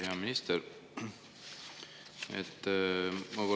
Hea minister!